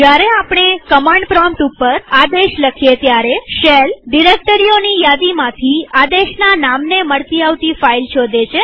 જયારે આપણે command prompt ઉપર આદેશ લખીએ ત્યારે શેલ ડિરેક્ટરીઓની યાદીમાંથી આદેશના નામને મળતી આવતી ફાઈલ શોધે છે